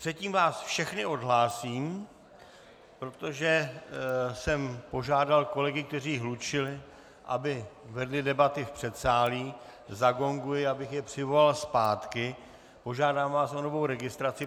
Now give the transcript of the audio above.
Předtím vás všechny odhlásím, protože jsem požádal kolegy, kteří hlučeli, aby vedli debaty v předsálí, zagonguji, abych je přivolal zpátky, požádám vás o novou registraci.